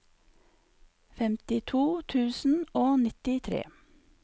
femtito tusen og nittitre